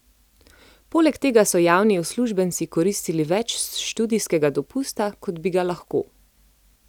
Poleg tega so javni uslužbenci koristili več študijskega dopusta, kot bi ga lahko.